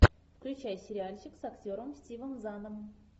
включай сериальчик с актером стивом заном